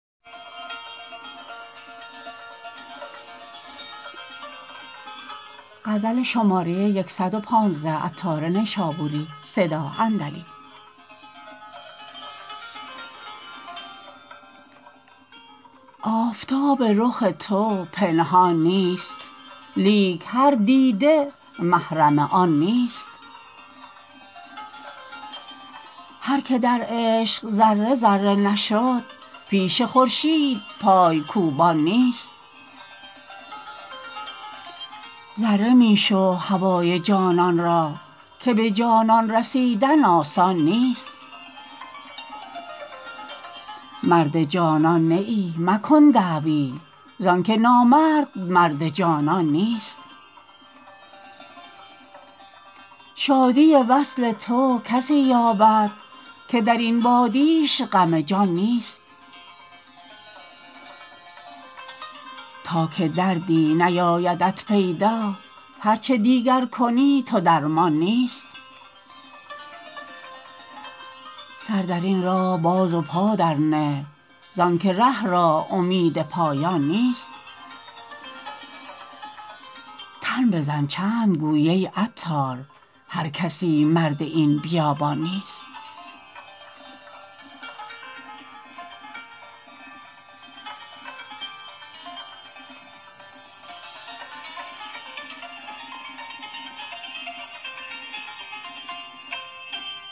آفتاب رخ تو پنهان نیست لیک هر دیده محرم آن نیست هر که در عشق ذره ذره نشد پیش خورشید پای کوبان نیست ذره می شو هوای جانان را که به جانان رسیدن آسان نیست مرد جانان نه ای مکن دعوی زانکه نامرد مرد جانان نیست شادی وصل تو کسی یابد که درین وادیش غم جان نیست تا که دردی نیایدت پیدا هرچه دیگر کنی تو درمان نیست سر درین راه باز و پا در نه زانکه ره را امید پایان نیست تن بزن چند گویی ای عطار هر کسی مرد این بیابان نیست